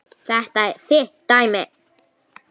Þetta er þitt dæmi.